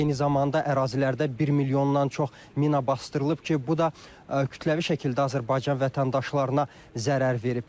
Eyni zamanda ərazilərdə 1 milyondan çox mina basdırılıb ki, bu da kütləvi şəkildə Azərbaycan vətəndaşlarına zərər verib.